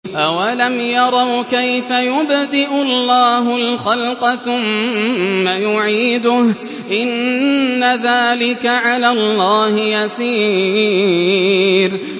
أَوَلَمْ يَرَوْا كَيْفَ يُبْدِئُ اللَّهُ الْخَلْقَ ثُمَّ يُعِيدُهُ ۚ إِنَّ ذَٰلِكَ عَلَى اللَّهِ يَسِيرٌ